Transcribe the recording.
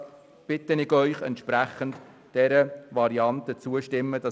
Das ist meines Erachtens auch eine Frage des Anstands.